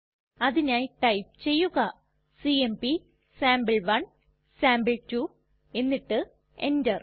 അതിനായി ടൈപ്പ് ചെയ്യുക സിഎംപി സാംപിൾ1 സാംപിൾ2 എന്നിട്ട് എന്റർ